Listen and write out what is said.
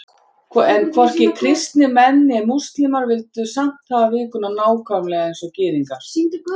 En hvorki kristnir menn né múslímar vildu samt hafa vikuna nákvæmlega eins og Gyðingar.